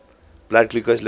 blood glucose levels